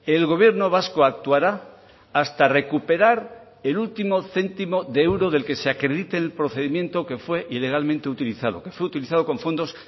el gobierno vasco actuará hasta recuperar el último céntimo de euro del que se acredite el procedimiento que fue ilegalmente utilizado que fue utilizado con fondos